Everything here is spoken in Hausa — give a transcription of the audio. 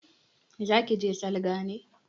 Za ke je salga ne?